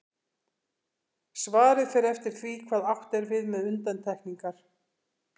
Svarið fer eftir því hvað átt er við með undantekningar.